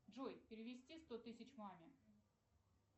джой перевести сто тысяч маме